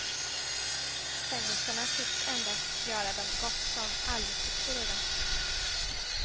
Fängelserna tycks endast göra dem gott som aldrig sitter i dem.